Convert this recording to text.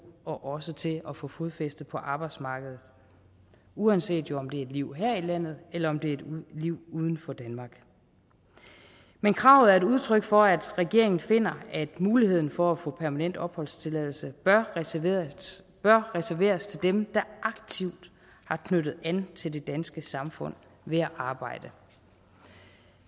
og også til at få fodfæste på arbejdsmarkedet uanset om det er et liv her i landet eller om det er et liv uden for danmark men kravet er et udtryk for at regeringen finder at muligheden for at få permanent opholdstilladelse bør reserveres bør reserveres til dem der aktivt har knyttet an til det danske samfund ved at arbejde